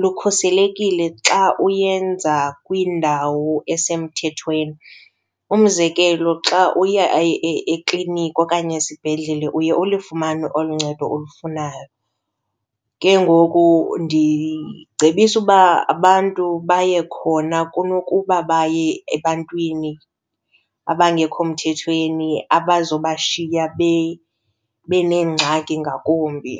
lukhuselekile xa uyenza kwindawo esemthethweni. Umzekelo xa uye ekliniki okanye esibhedlele uye ulifumane olu ncedo olufunayo, ke ngoku ndicebisa uba abantu baye khona kunokuba baye ebantwini abangekho mthethweni abazobashiya beneengxaki ngakumbi.